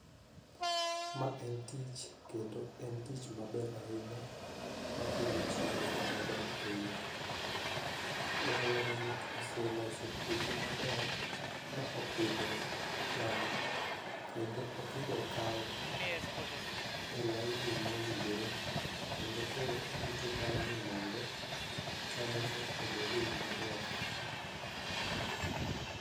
ma en tich kendo en tich maber ahinya makelo chiemo maber ahinya, rawera ni oseloso puothe maber ma opidho cham kendo opidho kal e laini mowinjore kendo koro orito mana ni mondo chambe no obede yo maber